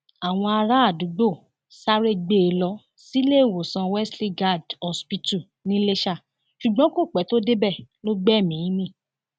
àwọn aráàdúgbò sáré gbé e lọ síléèwòsàn wesley guild hospital niléṣà ṣùgbọn kò pẹ tó débẹ lọ gbẹmíín mi